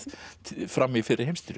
fram í fyrri heimsstyrjöld